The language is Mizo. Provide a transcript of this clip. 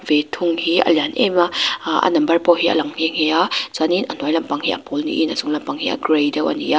ve thung hi a lian em a aaa a number pawh hi a lang nghe nghe a chuanin a hnuai lampang hi a pawl niin a chung lampang hi a gray deuh a ni a.